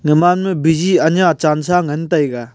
Gaman ma busy anya chansa ngan taiga.